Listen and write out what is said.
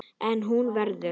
En hún verður.